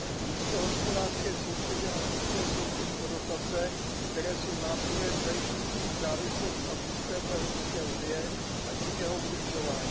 Místo hospodářské soutěže nastupuje soutěž o dotace, které jsou nástrojem zajišťujícím závislost na systému EU, a tím jeho udržování.